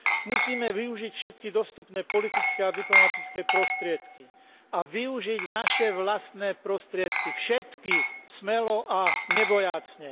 Musíme využiť všetky dostupné politické a diplomatické prostriedky a využiť naše vlastné prostriedky, všetky, smelo a nebojácne.